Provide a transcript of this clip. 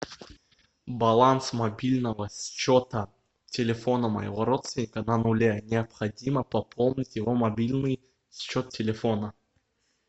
баланс мобильного счета телефона моего родственника на нуле необходимо пополнить его мобильный счет телефона